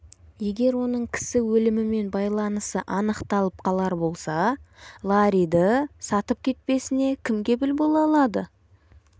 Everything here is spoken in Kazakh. егер оның кісі өлімімен байланысы анықталып қалар болса ларриді сатып кетпесіне кім кепіл бола алады